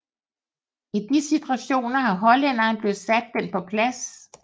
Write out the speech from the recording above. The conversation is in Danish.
I de situationer har hollænderen selv sat den på plads